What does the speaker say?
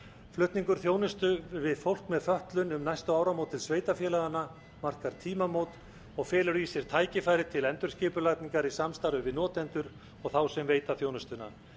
flutningur þjónustu við fólk með fötlun um næstu áramót til sveitarfélaganna markar tímamót og felur í sér tækifæri til endurskipulagningar í samstarfi við notendur og þá sem veita þjónustuna